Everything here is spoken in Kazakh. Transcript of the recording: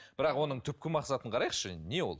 бірақ оның түпкі мақсатын қарайықшы не ол